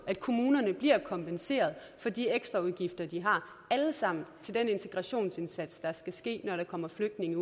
at kommunerne bliver kompenseret for de ekstraudgifter de har alle sammen til den integrationsindsats der skal ske når der kommer flygtninge